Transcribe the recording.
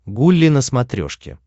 гулли на смотрешке